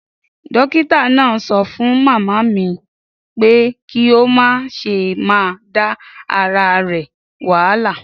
Dókítà náà sọ fún màmá mi pé kí ó má ​​ṣe máa da ara rẹ̀ wahala.